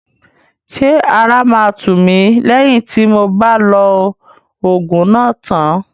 Ṣé ara máa tù mí lẹ́yìn tí mob á lo òògùn náà tán?